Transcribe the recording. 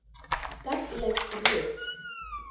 Gagnleg rit